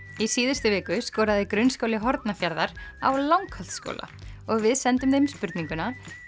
í síðustu viku skoraði grunnskóli Hornafjarðar á Langholtsskóla og við sendum þeim spurninguna